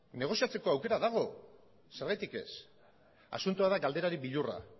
negoziatzeko aukera dago zergatik ez asuntoa da galderari beldurra